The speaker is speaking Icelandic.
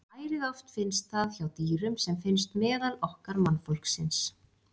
Ærið oft finnst það hjá dýrum sem finnst meðal okkar mannfólksins.